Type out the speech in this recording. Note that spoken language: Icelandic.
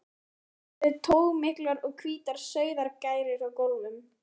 Einnig eru togmiklar og hvítar sauðargærur á gólfum.